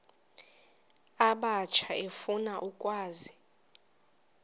abatsha efuna ukwazi